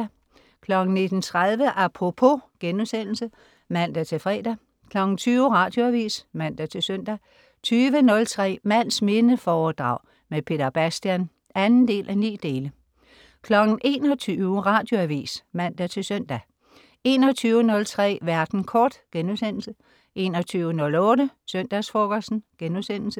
19.30 Apropos* (man-fre) 20.00 Radioavis (man-søn) 20.03 Mands minde foredrag med Peter Bastian 2:9 21.00 Radioavis (man-søn) 21.03 Verden kort* 21.08 Søndagsfrokosten*